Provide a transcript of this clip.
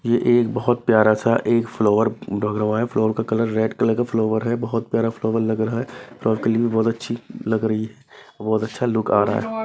ये एक बहुत प्यारा सा एक फ्लावर लग रहा है फ्लावर का कलर रेड कलर का फ्लावर है बहुत प्यारा फ्लावर लग रहा है के लिए भी बहुत अच्छी लग रही है बहुत अच्छा लुक आ रहा है।